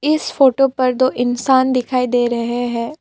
इस फोटो पर दो इंसान दिखाई दे रहे हैं।